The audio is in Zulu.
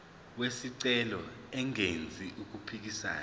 wesicelo engenzi okuphikisana